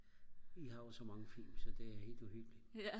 vi har jo så mange film så det er helt uhyggeligt